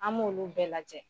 An b'olu bɛɛ lajɛ.